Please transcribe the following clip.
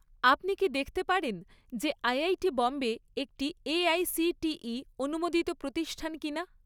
আপনি কি দেখতে পারেন যে আইআইটি বোম্বে একটি এআইসিটিই অনুমোদিত প্রতিষ্ঠান কিনা?